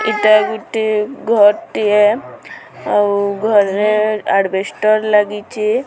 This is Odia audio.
ଏଟା ଗୁଟେ ଘରଟିଏ ଆଉ ଘରରେ ଆଜବେଷ୍ଟର ଲାଗିଚି।